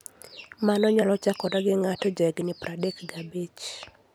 Mano nyalo chakore ka ng'ato jahigini 35.